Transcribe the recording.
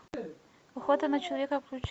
охота на человека включи